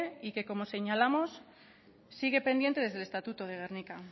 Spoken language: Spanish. y como señalamos sigue pendiente desde el estatuto de gernika